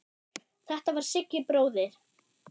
Þetta var Siggi bróðir.